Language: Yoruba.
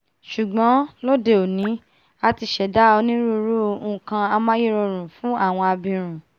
ṣùgbọ́n lóde òní a ti ṣẹ̀dá onírúirú nkan amáyérọrùn fún àwọn abirùn